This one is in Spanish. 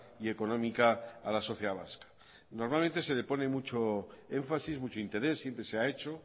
y económica a la sociedad vasca normalmente se le pone mucho énfasis mucho interés siempre se ha hecho